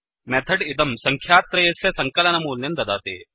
method इदं सङ्ख्यात्रयस्य सङ्कलनमूल्यं ददाति